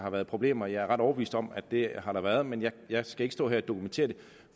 har været problemer jeg er ret overbevist om at det har der været men jeg skal ikke stå her og dokumentere det